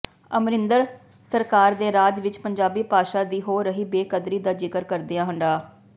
ਅਮਰਿੰਦਰ ਸਰਕਾਰ ਦੇ ਰਾਜ ਵਿਚ ਪੰਜਾਬੀ ਭਾਸ਼ਾ ਦੀ ਹੋ ਰਹੀ ਬੇਕਦਰੀ ਦਾ ਜ਼ਿਕਰ ਕਰਦਿਆਂ ਡਾ